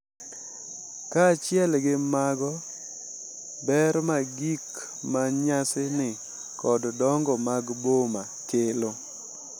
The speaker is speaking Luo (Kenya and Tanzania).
Kaachiel gi mago, ber ma gik ma nyasani kod dongo mag boma kelo .